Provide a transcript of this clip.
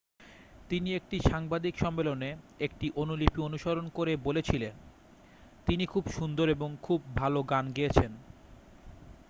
"তিনি একটি সাংবাদিক সম্মেলনে একটি অনুলিপি অনুসরণ করে বলেছিলেন "তিনি খুব সুন্দর এবং খুব ভাল গান গেয়েছেন।""